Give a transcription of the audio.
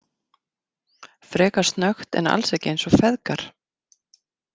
Frekar snöggt en alls ekki eins og feðgar.